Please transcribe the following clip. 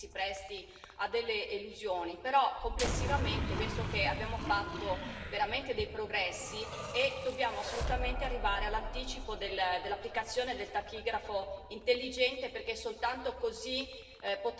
Però complessivamente penso che abbiamo fatto veramente dei progressi e dobbiamo assolutamente arrivare all'anticipo dell'applicazione del trachigrafo intelligente, perché soltanto così potremo controllare tali norme.